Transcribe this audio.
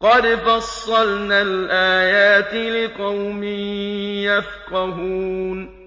قَدْ فَصَّلْنَا الْآيَاتِ لِقَوْمٍ يَفْقَهُونَ